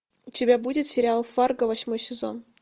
у тебя будет сериал фарго восьмой сезон